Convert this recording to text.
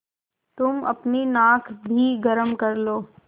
तुम अपनी नाक भी गरम कर लो